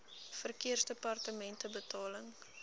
verkeersdepartementebetaling